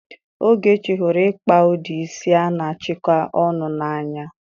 Ogechi hụrụ ịkpa ụdị isi a na-achịkọ ọnụ n'anya.